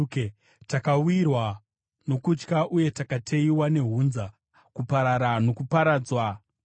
Takawirwa nokutya uye takateyiwa nehunza, kuparara nokuparadzwa kukuru.”